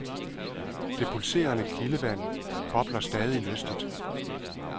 Det pulserende kildevand bobler stadig lystigt.